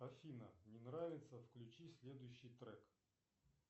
афина не нравится включи следующий трек